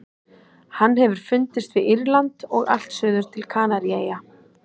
Hann hefur fundist við Írland og allt suður til Kanaríeyja.